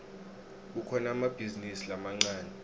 kukhona emabhizinisi lamancane